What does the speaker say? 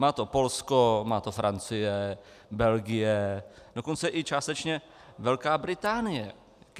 Má to Polsko, má to Francie, Belgie, dokonce i částečně Velká Británie.